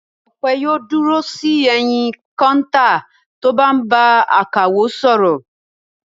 Ọpẹ́ yóò dúró sí ẹ̀yìn kọ́ńtà tó bá ń bá akawó sọ̀rọ̀.